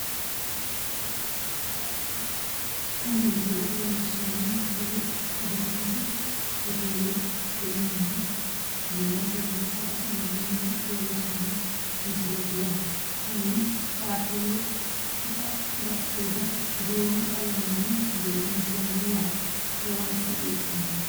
Tini misile leelishanoniker adimas hoteeli yinay sagale saga'linay mine leelishshano misileet yaate konni taapelu badhiido duume qalamenni biifinsoon yaate lowonta biiffanno